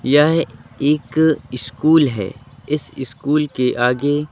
यह एक इस्कूल है इस इस्कूल के आगे--